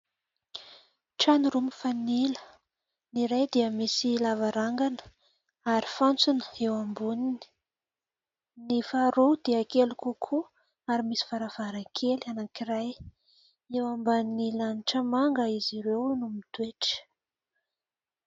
Trano roa mifanila, ny iray dia misy lavarangana ary fantsona eo amboniny, ny faharoa dia kely kokoa ary misy varavaran-kely anakiray, eo ambany lanitra manga izy ireo no mitoetra.